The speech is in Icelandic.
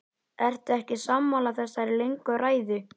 Ertu ekki sammála þessari löngu ræðu?